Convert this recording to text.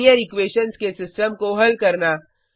linear equations के system को हल करना